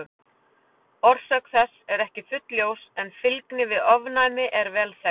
Orsök þess er ekki fullljós en fylgni við ofnæmi er vel þekkt.